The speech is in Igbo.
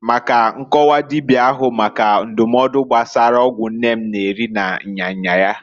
maka nkọwa dibia ahu maka ndụmọdụ gbasara ọgwụ nne m na-eri na nya nya ya.